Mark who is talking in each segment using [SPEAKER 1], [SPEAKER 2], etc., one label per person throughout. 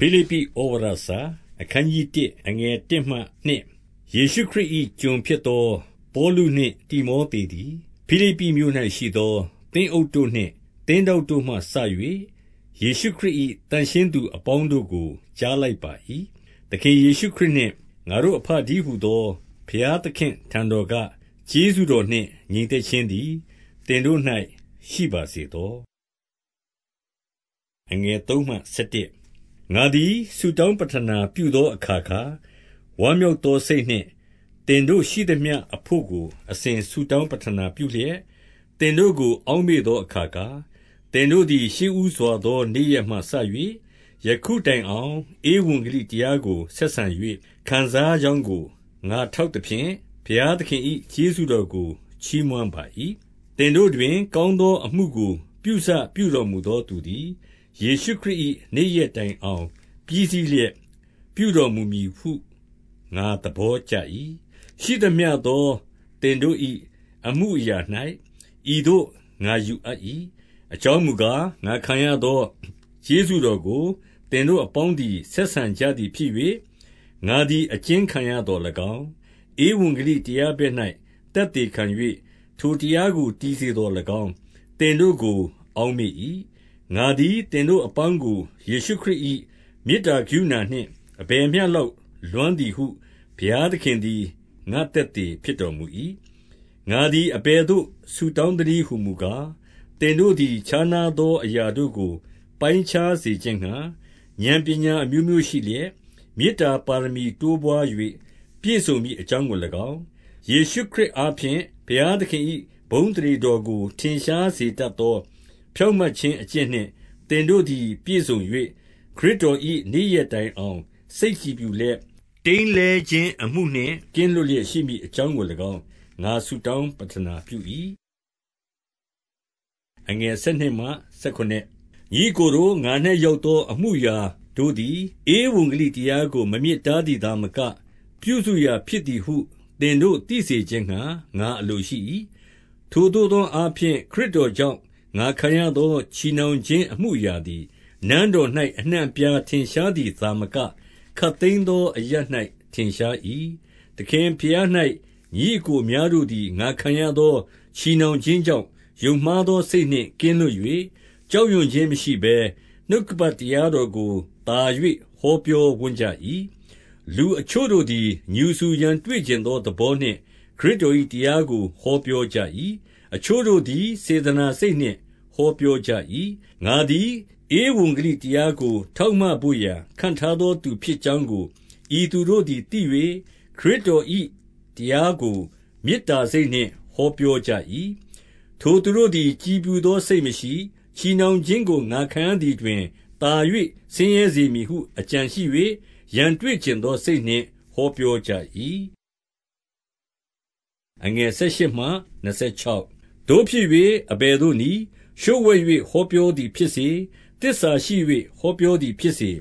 [SPEAKER 1] ဖိလိပ္ပိ​ဩဝါဒစာ။ အခနျး 1 အခနျး ၁ ယေရှုခရစ်၏ ကျွန်ဖြစ်သောပေါလုနှင့် တိမောသေသည်၊ ဖိလိပ္ပိမြို့၌ရှိသော သင်းအုပ်တို့နှင့် သင်း ထောက်တို့မှစ၍ ယေရှုခရစ်၏ သန့်ရှင်းသူအပေါင်းတို့ကို ကြားလိုက်ပါ၏။ 2 သခင်ယေရှုခရစ်နှင့် ငါတို့အဘတည်းဟူသော ဘုရားသခင့်အထံတော်က ကျေးဇူးတော်နှင့် ငြိမ်သက် ခြင်းသည် သင်တို့၌ ရှိပါစေသော။ 3 ငါသည်ဆုတောင်းပဌနာပြုသောအခါခါ၊ 4 ဝမ်းမြောက်သောစိတ်နှင့် သင်တို့ရှိသမျှအဘို့ကို အစဉ်ဆုတောင်းပဌနာပြုလျက်၊ သင်တို့ကို အောက်မေ့သောအခါခါ၊ 5 သင်တို့သည် ရှေ့ဦးစွာ သောနေ့ရက်မှစ၍ ယခုတိုင်အောင် ဧဝံဂလိတရားကို ဆက်ဆံ၍ ခံစားကြောင်းကို ငါထောက်သဖြင့်၊ ဘုရားသခင်၏ ကျေးဇူးတော်ကို ချီးမွမ်းပါ၏။ 6 သင်တို့တွင် ကောင်းသောအမှုကို ပြုစပြုတော်မူသောသူသည်၊ ယေရှုခရစ်၏နေ့ရက်တိုင်အောင် ပြီးစီး လျက်ပြုတော်မူမည်ဟု ငါသဘောကျ၏။ 7 ရှိသမျှသောသင်တို့၏ အမှုအရာ၌ ဤသို့ငါယူအပ်၏။ အကြောင်းမူကား၊ ငါခံရသော ကျေးဇူးတော်ကို သင်တို့အပေါင်းသည် ဆက်ဆံကြသည်ဖြစ်၍၊ ငါသည် အကျဉ်းခံရသော်၎င်း၊ ဧဝံဂလိတရားဘက်၌ သက်သေခံ ၍ ထိုတရားကို တည်စေသော်၎င်း၊ သင်တို့ကို အောက်မေ့၏။ 8 ငါသည် သင်တို့အပေါင်းကို ယေရှုခရစ်၏ မေတ္တာကရုဏာနှင့် အဘယ်မျှလောက် လွမ်းသည်ဟု ဘုရားသခင်သည် ငါ့သက်သေဖြစ်တော်မူ၏။ 9 ငါသည်အဘယ်သို့ ဆုတောင်းသနည်းဟူမူကား၊ သင်တို့သည် ခြားနားသောအရာတို့ကို ပိုင်းခြား စေခြင်းငှါ ဥာဏ်ပညာအမျိုးမျိုးရှိလျက်၊ 10 မေတ္တာပါရမီတိုးပွား၍ ပြည့်စုံမည်အကြောင်းကို၎င်း၊ 11 ယေရှုခရစ်အားဖြင့် ဘုရားသခင်၏ ဘုန်းအသရေတော်ကို ထင်ရှားစေတတ်သော ဖြောင့်မတ်ခြင်း အကျင့်နှင့် သင်တို့သည် ပြည့်စုံ၍ ခရစ်တော်၏ နေ့ရက်တိုင်အောင် စိတ်ကြည်ဖြူလျက်၊ တိမ်းလဲခြင်းအမှုနှင့် ကင်းလွတ်လျက်ရှိမည်အကြောင်းကို၎င်း၊ ငါဆုတောင်း ပဌနာပြု၏။ 12 ညီအစ်ကိုတို့၊ ငါ၌ရောက်သော အမှုအရာတို့သည် ဧဝံဂေလိတရားကို မမြစ်တားသည်သာမက၊ ပြုစု ရာဖြစ်သည်ဟု သင်တို့ သိစေခြင်းငှါ ငါအလိုရှိ၏။ 13 ထိုသို့သောအားဖြင့် ခရစ်တော်ကြောင့် ငါခံရသော ချည်နှောင်ခြင်းအမှုအရာသည်၊ နန်းတော်၌ အနှံ့ အပြားထင်ရှားသည်သာမက၊ ခပ်သိမ်းသောအရပ်၌ ထင်ရှား၏။ 14 သခင်ဘုရား၌ ညီအစ်ကိုအများတို့သည် ငါခံရသော ချည်နှောင်ခြင်းကြောင့် ယုံမှားသောစိတ်နှင့် ကင်းလွတ်၍ ကြောက်ရွံ့ခြင်း မရှိဘဲ၊ နှုတ်ကပတ်တရားတော် ကို သာ၍ ဟောပြောဝံ့ကြ၏။ 15 လူအချို့တို့သည် ငြူစူရန်တွေ့ချင်သောသဘောနှင့် ခရစ်တော်၏တရားကို ဟောပြောကြ၏။ အချို့တို့ သည် စေတနာစိတ်နှင့် ဟောပြောကြ၏။ 16 ငါသည် ဧဝံဂေလိတရားကို ထောက်မဘို့ရာ ခန့်ထားသောသူဖြစ်ကြောင်းကို ဤသူတို့သည်သိ၍ ခရစ်တော်၏တရားကို မေတ္တာစိတ်နှင့် ဟောပြောကြ၏။ 17 ထိုသူတို့သည် ကြည်ဖြူသောစိတ်မရှိ၊ ချည်နှောင်ခြင်းကို ငါခံရသည်တွင် သာ၍ ဆင်းရဲစေမည်ဟု အကြံရှိ၍၊ ရန်တွေ့ချင်သောစိတ်နှင့် ဟောပြောကြ၏။ 18 သို့ဖြစ်၍ အဘယ်သို့နည်း၊ လျှို့ဝှက်၍ ဟောပြောသည်ဖြစ်စေ၊ သစ္စာရှိ၍ ဟောပြောသည်ဖြစ်စေ၊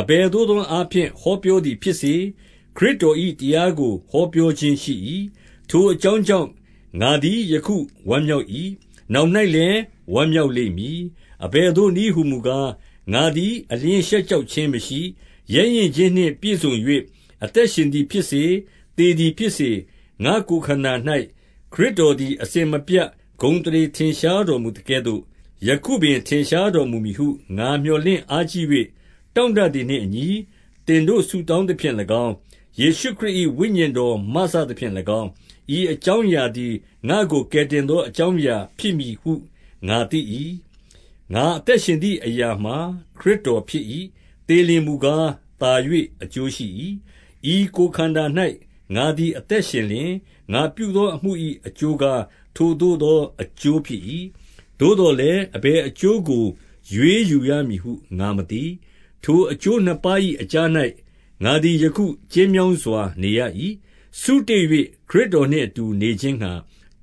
[SPEAKER 1] အဘယ်သို့သောအားဖြင့် ဟောပြောသည်ဖြစ်စေ၊ ခရစ်တော်၏တရားကို ဟောပြောခြင်းရှိ၏။ ထိုအကြောင်း ကြောင့် ငါသည်ယခုဝမ်းမြောက်၏။ နောင်၌လည်း ဝမ်းမြောက်လိမ့်မည်။ 19 အဘယ်သို့နည်းဟူမူကား၊ ငါသည်အလျှင်းရှက်ကြောက်ခြင်းမရှိ၊ ရဲရင့်ခြင်းနှင့်ပြည့်စုံ၍ အသက်ရှင်သည်ဖြစ်စေ၊ သေသည်ဖြစ်စေ၊ ငါ့ကိုယ်ခန္ဓာ၌ ခရစ်တော်သည် အစဉ်မပြတ် ဂုဏ်အသရေထင်ရှား တော်မူသကဲ့သို့၊ 20 ယခုပင်ထင်ရှားတော်မူမည်ဟု ငါမြော်လင့်အားကြီး၍ တောင့်တသည်နှင့်အညီ သင်တို့ဆုတောင်းသဖြင့်၎င်း၊ ယေရှုခရစ်၏ ဝိညာဉ်တော်မစသဖြင့်၎င်း၊ ဤအကြောင်းအရာသည် ငါ့ကိုကယ်တင်သော အကြောင်းအရာဖြစ် မည်ဟု ငါသိ၏။ 21 အသက်ရှင်သည်အရာမှာ ခရစ်တော်ဖြစ်၏။ သေလျှင်မူကား၊ သာ၍အကျိုးရှိ၏။ 22 ဤကိုယ်ခန္ဓာ၌ ငါသည်အသက်ရှင်လျှင်၊ ငါပြုသောအမှု၏ အကျိုးကား ထိုသို့သောအကျိုးဖြစ်၏။ သို့သော်လည်း အဘယ်အကျိုးကို ရွေးယူရမည်ဟု ငါမသိ။ 23 ထိုအကျိုးနှစ်ပါး၏အကြား၌ ငါသည်ယခု ကျဉ်းမြောင်းစွာ နေရ၏။ စုတေ့၍ ခရစ်တော်နှင့်အတူ နေ ခြင်းငှါ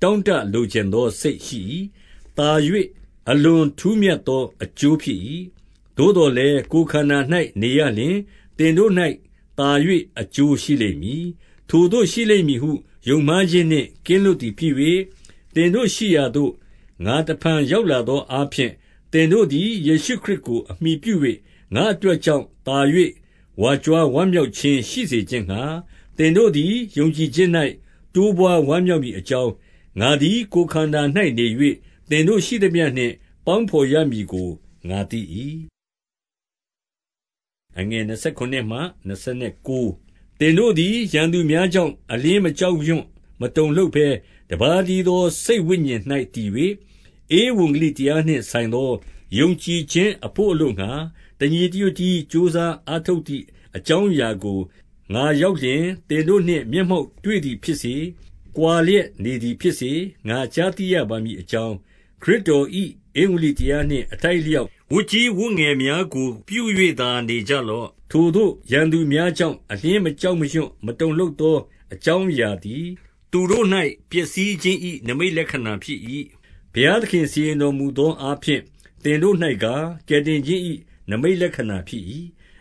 [SPEAKER 1] တောင့်တလိုချင်သော စိတ်ရှိ၏။ သာ၍ အလွန် ထူးမြတ်သောအကျိုးဖြစ်၏။ 24 သို့သော်လည်း ကိုယ်ခန္ဓာ၌ နေရလျှင် သင်တို့၌ သာ၍ အကျိုးရှိလိမ့်မည်။ 25 ထိုသို့ရှိလိမ့်မည်ဟု ယုံမှားခြင်းနှင့် ကင်းလွတ်သည်ဖြစ်၍၊ သင်တို့ရှိရာသို့ ငါတဖန်ရောက်လာသော အားဖြင့်၊ သင်တို့သည် ယေရှုခရစ်ကိုအမှီပြု၍ ငါ့အတွက်ကြောင့် သာ၍ ဝါကြွားဝမ်းမြောက်ခြင်း ရှိစေခြင်းငှါ၊ 26 သင်တို့သည် ယုံကြည်ခြင်း၌ တိုးပွားဝမ်းမြောက်မည်အကြောင်း၊ ငါသည်ကိုယ်ခန္ဓာ၌နေ၍ သင်တို့ရှိသမျှနှင့် ပေါင်းဘော်ရမည်ဟု ငါသိ၏။ 27 သင်တို့သည် ရန်သူများကြောင့် အလျှင်း မကြောက်ရွံ့မတုန်လှုပ်ဘဲ၊ တပါးတည်းသော စိတ်ဝိညာဉ်၌ တည်၍၊ ဧဝံဂေလိတရားနှင့်ဆိုင်သော ယုံကြည်ခြင်းအဘို့အလိုငှါ တညီတညွတ်တည်း ကြိုးစားအား ထုတ်ကြသည် အကြောင်းအရာကို၊ ငါရောက်လျှင် သင်တို့နှင့် မျက်မှောက်တွေ့သည်ဖြစ်စေ၊ ကွာလျက်နေသည် ဖြစ်စေ၊ ငါကြားသိရပါမည်အကြောင်း၊ ခရစ်တော်၏ ဧဝံဂေလိတရားနှင့် အထိုက်အလျောက် ဝတ်ကြီး ဝတ်ငယ်များကို ပြု၍သာနေကြလော့။ 28 ထိုသို့ရန်သူများကြောင့် အလျှင်းမကြောက်ရွံ့ မတုန်လှုပ်သော အကြောင်းအရာသည်၊ သူတို့၌ ပျက်စီး ခြင်း၏ နိမိတ်လက္ခဏာဖြစ်၏။ 29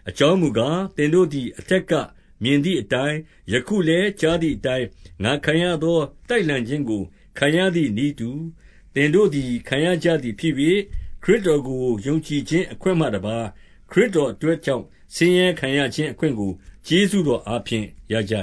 [SPEAKER 1] အကြောင်းမူကား၊ သင်တို့သည် အထက်ကမြင်သည်အတိုင်း၊ ယခုလည်း ကြားသည်အတိုင်း ငါခံရသော တိုက်လှန်ခြင်းကို ခံရသည်နည်းတူ၊ သင်တို့သည် ခံရကြသည်ဖြစ်၍၊ ခရစ်တော်ကို ယုံကြည်ခြင်းအခွင့်မှတပါး၊ ခရစ်တော်အတွက်ကြောင့် ဆင်းရဲခံရခြင်းအခွင့်ကို ကျေးဇူးတော်အားဖြင့် ရကြ